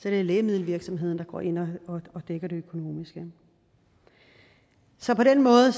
er det lægemiddelvirksomheden der går ind og dækker det økonomiske så på den måde